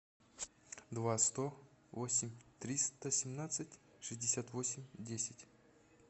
два сто восемь триста семнадцать шестьдесят восемь десять